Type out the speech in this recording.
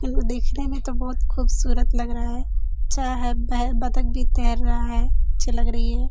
वो देखने में तो बहुत खूबसूरत लग रहा है। अच्छा है बै बतख भी तैंर रहा है। अच्‍छा लग रही है।